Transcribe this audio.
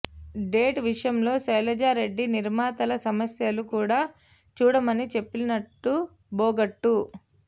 date విషయంలో శైలజారెడ్డి నిర్మాతల సమస్యలు కూడా చూడమని చెప్పినట్లు బోగట్టా